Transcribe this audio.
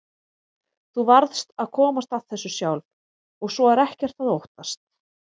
Þú varðst að komast að þessu sjálf og svo er ekkert að óttast.